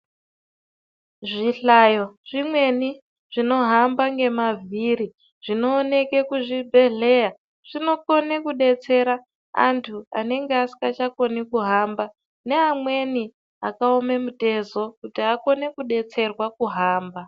Zvihlayo zvimweni zvinohamba nemavhiri zvinooneke kuzvibhedhlera zvinokone kuvabetsera antu anenga asikachakoni kuhamba neamweni akaome mitezo kuti akone kubetserwa kuhamba .